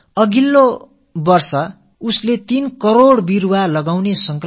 அடுத்த ஆண்டு 3 கோடி மரக்கன்றுகளை நடும் தீர்மானமும் மேற்கொண்டிருக்கிறார்கள்